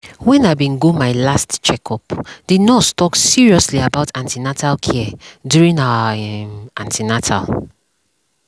when i bin go my last checkup the nurse talk seriously about an ten atal care during our um an ten atal